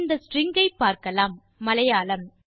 இந்த ஸ்ட்ரிங் ஐ பார்க்கலாம் மலையாளம்